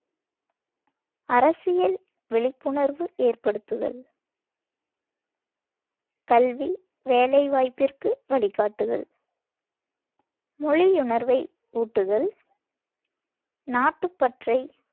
அரசியல் விழிப்புணர்வு ஏற்படுத்துதல், கல்வி, வேலைவாய்ப்பிற்கு வழிகாட்டுதல், மொழியுணர்வை ஊட்டுதல், நாட்டுப்பற்றை